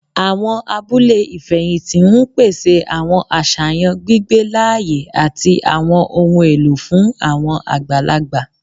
Awọn abule ifẹhinti n pese awọn aṣayan gbigbe laaye ati awọn ohun elo fun awọn agbalagba